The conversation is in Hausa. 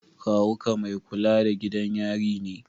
Kawu ka mai kula da gidan yari ne?